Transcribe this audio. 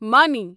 مانی